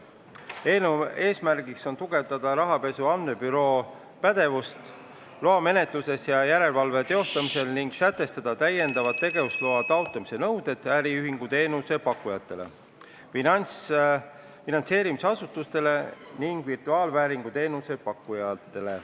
Eelnõu eesmärgiks on tugevdada rahapesu andmebüroo pädevust loamenetluses ja järelevalve teostamisel ning sätestada täiendava tegevusloa taotlemise nõuded äriühinguteenuse pakkujatele, finantseerimisasutustele ning virtuaalvääringu teenuse pakkujatele.